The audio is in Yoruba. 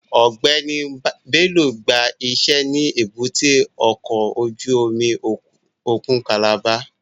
Ọgbẹni Bello gba ise ni èbúté ọkọ ojú omi okun Calabar